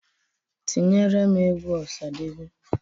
Tinyeere m egwu Ọsadebe!